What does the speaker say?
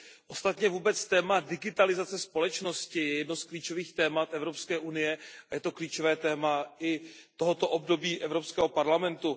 Ostatně vůbec téma digitalizace společnosti je jedno z klíčových témat Evropské unie a je to klíčové téma i tohoto období Evropského parlamentu.